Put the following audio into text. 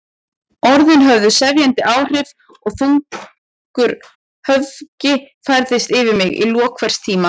Orðin höfðu sefjandi áhrif og þungur höfgi færðist yfir mig í lok hvers tíma.